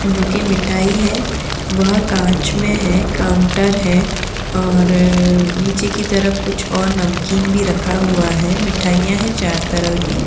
जो की मिठाई है वह काँच में है काउंटर है और अ-अ नीचे की तरफ़ कुछ और नमकीन भी रखा हुआ है | मिठाइयाँ हैं चार तरह की।